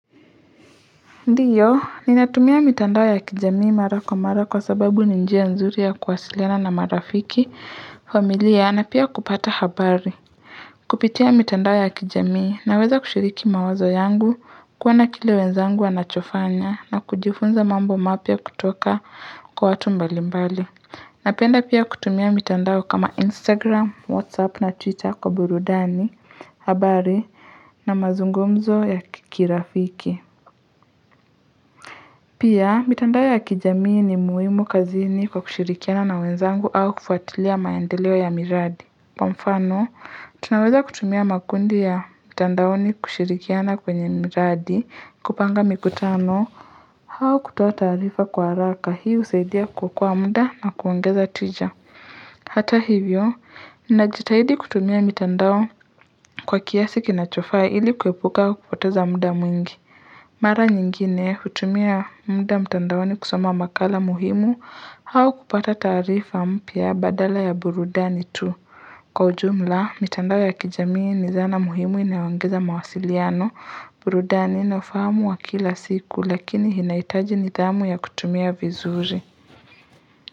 Ndiyo, ninatumia mitandao ya kijamii mara kwa mara, kwa sababu ni njia nzuri ya kuwasiliana na marafiki, familia na pia kupata habari. Kupitia mitandao ya kijamii naweza kushiriki mawazo yangu, kuona kile wenzangu wanachofanya na kujifunza mambo mapya kutoka kwa watu mbali mbali. Napenda pia kutumia mitandao kama Instagram, Whatsapp na Twitter kwa burudani, habari na mazungumzo ya kirafiki. Pia, mitandao ya kijamii ni muhimu kazini kwa kushirikiana na wenzangu au kufuatilia maendeleo ya miradi. Mfano, tunaweza kutumia makundi ya mitandaoni kushirikiana kwenye miradi, kupanga mikutano, au kutoa taarifa kwa haraka. Hii husaidia kuokoa muda na kuongeza tija. Hata hivyo, najitahidi kutumia mitandao kwa kiasi kinachofaa ili kuepuka kupoteza muda mwingi. Mara nyingine hutumia muda mtandaoni kusoma makala muhimu au kupata taarifa mpya badala ya burudani tu. Kwa ujumla, mitandao ya kijamii ni zana muhimu inayoongeza mawasiliano, burudani na ufahamu wa kila siku lakini inahitaji nidhamu ya kutumia vizuri.